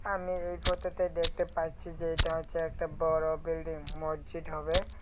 আমি এই ফটো -তে দেখতে পাচ্ছি যে এটা হচ্ছে একটা বড়ো বিল্ডিং মসজিদ হবে।